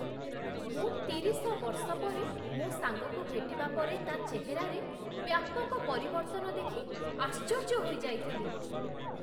ମୁଁ ତିରିଶ ବର୍ଷ ପରେ ମୋ ସାଙ୍ଗକୁ ଭେଟିବା ପରେ ତା' ଚେହେରାରେ ବ୍ୟାପକ ପରିବର୍ତ୍ତନ ଦେଖି ଆଶ୍ଚର୍ଯ୍ୟ ହୋଇଯାଇଥିଲି।